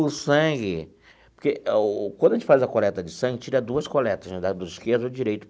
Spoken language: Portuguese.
O sangue, porque o quando a gente faz a coleta de sangue, tira duas coletas, né, lado esquerdo e direito.